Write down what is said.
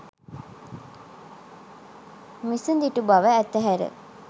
මිසදිටු බව අතහැර